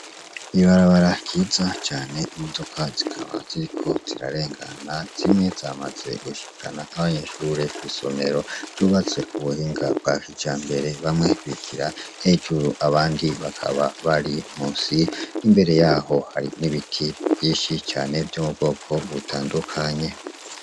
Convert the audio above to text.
Ibarabara ryiza cane imodoka zikaba ziriko zirarengana , zimwe zamaze gushikana abanyeshure kw'isomero, ryubatse kubuhinga bwa kijambere , bamwe bigira hejuru abandi bakaba bari musi, imbere yaho hari n'ibiti vyinshi cane vyo mubwoko butandukaye.